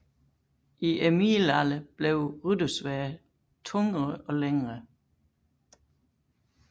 I middelalderen blev ryttersværdet tungere og længere